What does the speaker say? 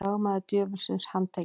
Lögmaður djöfulsins handtekinn